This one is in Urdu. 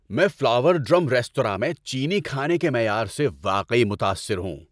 میں فلاور ڈرم ریستوراں میں چینی کھانے کے معیار سے واقعی متاثر ہوں۔